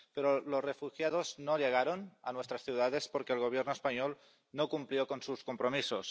Pero los refugiados no llegaron a nuestras ciudades, porque el Gobierno español no cumplió con sus compromisos.